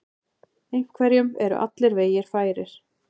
Einhverjum eru allir vegir færir